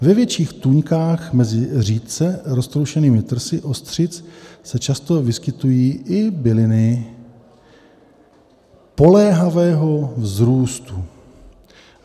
Ve větších tůňkách mezi řídce roztroušenými trsy ostřic se často vyskytují i byliny poléhavého vzrůstu.